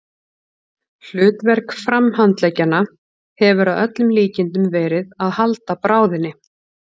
Hlutverk framhandleggjanna hefur að öllum líkindum verið að halda bráðinni.